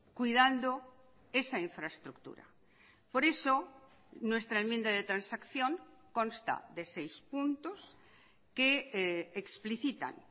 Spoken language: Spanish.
cuidando esa infraestructura por eso nuestra enmienda de transacción consta de seis puntos que explicitan